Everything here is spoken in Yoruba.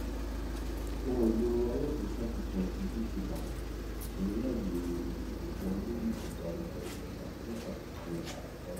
ohun èlò alágbèéká tuntun ti gtbank ti ní ààyè ìwọlé ìdánimọ ìtẹka fún àfikún ààbò báyìí